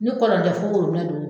Ni kɔlɔn tɛ fo orobinɛ do